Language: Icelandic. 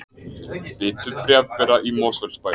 Bitu bréfbera í Mosfellsbæ